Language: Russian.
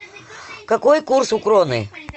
какой курс у кроны